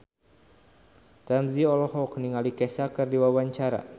Ramzy olohok ningali Kesha keur diwawancara